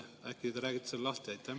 Äkki te räägite selle lahti?